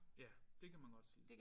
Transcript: Ja det kan man godt sige